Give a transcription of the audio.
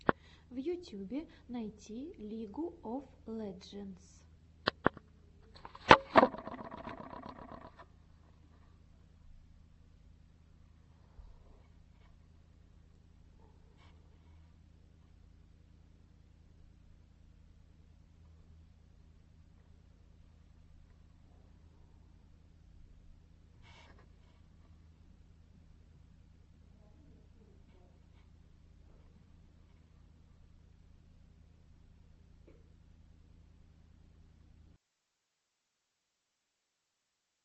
в ютьюбе найти лигу оф леджендс